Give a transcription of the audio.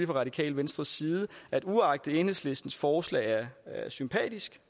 radikale venstres side uagtet at enhedslistens forslag er sympatisk